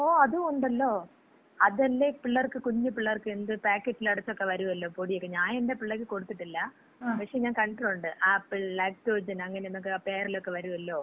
ഓ അതും ഒണ്ടല്ലോ. അതല്ലേ പിള്ളർക്ക്, കുഞ്ഞു പിള്ളേർക്ക് എന്ത് പാക്കറ്റിലടച്ചക്ക വരുവല്ലോ പൊടിയക്ക. ഞാൻ എന്‍റെ പിള്ളക്ക് കൊടുത്തിട്ടില്ല. പക്ഷേ ഞാൻ കണ്ടിട്ടുണ്ട്. ആപ്പിൾ ലാക്ടോജൻ, അങ്ങനെ എന്നക്ക പേരിലൊക്കെ വരുവല്ലോ?